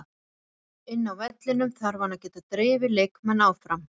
Inni á vellinum þarf hann að geta drifið leikmenn áfram.